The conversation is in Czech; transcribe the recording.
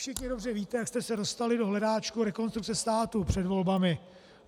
Všichni dobře víte, jak jste se dostali do hledáčku Rekonstrukce státu před volbami.